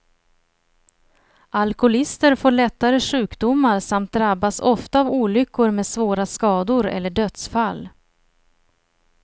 Alkoholister får lättare sjukdomar, samt drabbas ofta av olyckor med svåra skador eller dödsfall.